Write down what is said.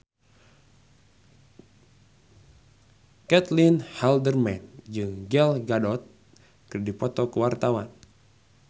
Caitlin Halderman jeung Gal Gadot keur dipoto ku wartawan